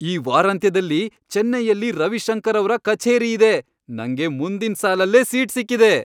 ಈ ವಾರಾಂತ್ಯದಲ್ಲಿ ಚೆನ್ನೈಯಲ್ಲಿ ರವಿಶಂಕರ್ ಅವ್ರ ಕಛೇರಿ ಇದೆ! ನಂಗೆ ಮುಂದಿನ್ ಸಾಲಲ್ಲೇ ಸೀಟ್ ಸಿಕ್ಕಿದೆ!